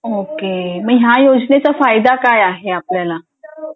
okay मग ह्या योजनेचा फायदा काय आहे आपल्याला